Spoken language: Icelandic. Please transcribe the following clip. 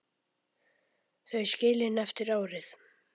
Þau skilin eftir árið.